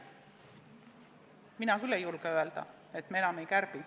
Mina küll ei julge öelda, et me enam ei kärbi.